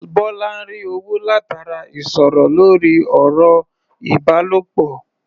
Bọ́lá ń rí owó látara ìsọ̀rọ̀ lórí ọ̀rọ̀-ìbálòpọ̀.